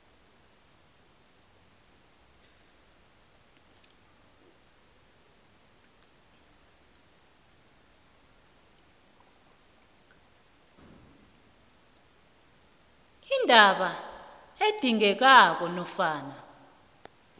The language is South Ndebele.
indaba edingekako nofana